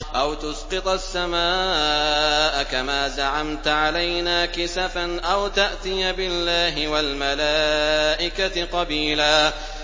أَوْ تُسْقِطَ السَّمَاءَ كَمَا زَعَمْتَ عَلَيْنَا كِسَفًا أَوْ تَأْتِيَ بِاللَّهِ وَالْمَلَائِكَةِ قَبِيلًا